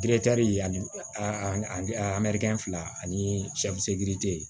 ani a fila ani